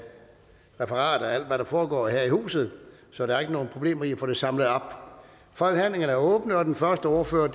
referat af alt hvad der foregår her i huset så der er ikke nogen problemer med at få det samlet op forhandlingerne er åbnet og den første ordfører